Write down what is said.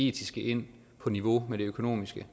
etiske ind på niveau med det økonomiske